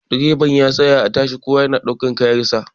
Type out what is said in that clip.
direban ya tsaya a tasha kowa yana daukar kayansa